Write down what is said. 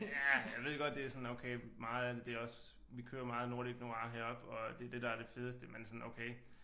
Ja jeg ved godt det er sådan okay meget af det det er også vi kører meget nordic noir heroppe og det er det der er det fedeste men sådan okay